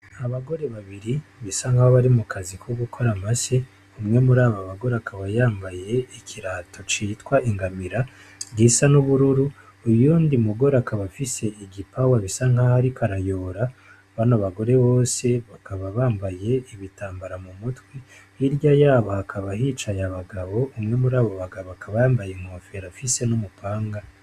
Abagore babiri bisa nk’aho bari mu kazi ko gukora amase. Umwe muri abo bagore akaba yambaye ikirato citwa ingamira gisa n’ubururu utundi mugore igipawa gisa nk’aho ariko arayora ,bano bagore bose bakaba bambaye ibitambara mu mutwe . Hirya y’aho hakaba hicaye abagabo, umwe muri abo bagabo akaba yambaye inkofero afise n’umupanga .